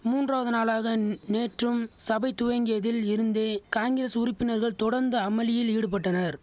மூன்றாவது நாளாகந் நேற்றும் சபை துவங்கியதில் இருந்தே காங்கிரஸ் உறுப்பினர்கள் தொடர்ந்து அமளியில் ஈடுபட்டனர்